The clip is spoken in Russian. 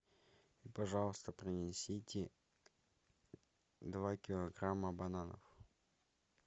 пожалуйста принесите два килограмма бананов